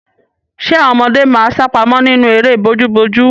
Ṣẹ àwọn ọmọdé máa sápamọ́ nínú eré bojúbojú?